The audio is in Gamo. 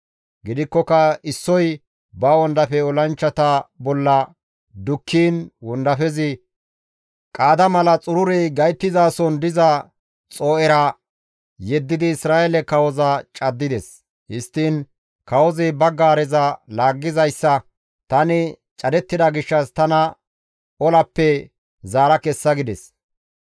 Gidikkoka issoy ba wondafe olanchchata bolla dukkiin wondafezi qaada mala xururey gayttizason diza xoo7era yeddidi Isra7eele kawoza caddides; histtiin kawozi ba para-gaareza laaggizayssa, «Tani cadettida gishshas tana olappe zaara kessa» gides.